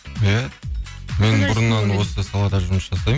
иә мен бұрыннан осы салада жұмыс жасаймын